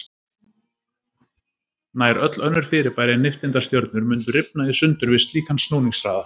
Nær öll önnur fyrirbæri en nifteindastjörnur mundu rifna í sundur við slíkan snúningshraða.